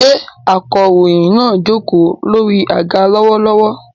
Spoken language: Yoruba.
Ṣé akọ̀ròyìn náà jókòó lórí àga lọ́wọ́lọ́wọ́?